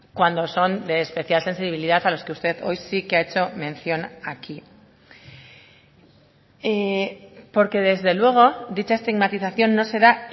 cuando son de especial sensibilidad a los que usted hoy sí que ha hecho mención aquí porque desde luego dicha estigmatización no se da